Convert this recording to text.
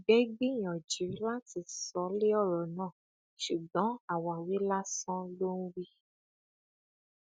ìgbẹ gbìyànjú láti sọ lé ọrọ náà ṣùgbọn àwáwí lásán ló ń wí